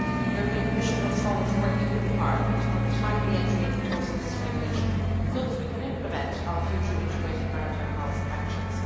The Commission looks forward to working with Parliament on the timely entry into force of this regulation so that we can implement our future integrated maritime policy actions.